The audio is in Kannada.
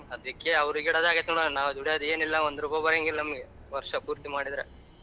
ಅದಿಕ್ಕೆಅವ್ರಿಗಿಡದಾಗಿತ್ ನಾವು ದೂಡಿಯೋದೆನಿಲ್ಲ ಒಂದ್ ರೂಪಾಯಿ ಬರಂಗಿಲ್ಲ ನಮ್ಗೆ ವರ್ಷ ಪೂರ್ತಿ ಮಾಡಿದ್ರೆ.